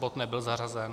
Bod nebyl zařazen.